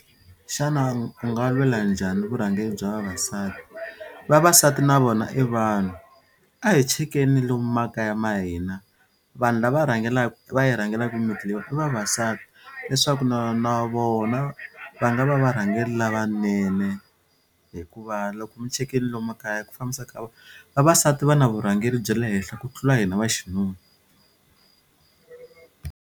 Xana u nga lwela njhani vurhangeri bya vavasati vavasati na vona i vanhu a hi chekeni lomu makaya ma hina vanhu lava rhangelaka va yi rhangelaka mimiti leyi i vavasati leswaku na na vona va nga va varhangeri lavanene hikuva loko mi chekile lomu makaya ku fambisa ka vavasati va na vurhangeri bya le henhla ku tlula hina vaxinuna.